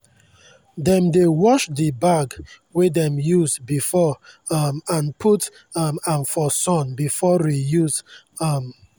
dem dey wash the bag wey dem use before um and put um am for sun before reuse. um